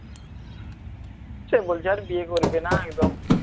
সে বলছে এখন বিয়ে করবেনা একদম